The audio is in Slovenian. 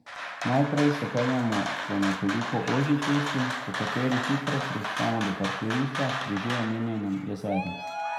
Naprej se peljemo po nekoliko ožji cesti, po kateri hitro prispemo do parkirišča pri že omenjenem jezeru.